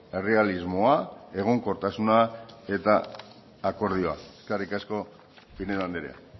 errealismoa egonkortasuna eta akordioa eskerrik asko pinedo andrea